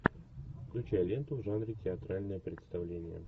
включай ленту в жанре театральное представление